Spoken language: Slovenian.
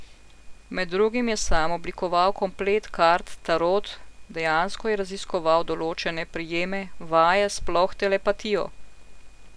Med drugim je sam oblikoval komplet kart tarot, dejansko je raziskoval določene prijeme, vaje, sploh telepatijo.